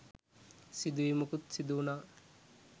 සිදුවීමකුත් සිදු වුනා..